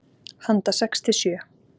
Handa sex til sjö